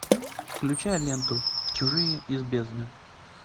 включай ленту чужие из бездны